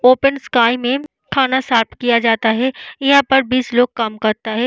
Open sky में खाना serve किया जाता है। यहाँ पे बीस लोग काम करता है।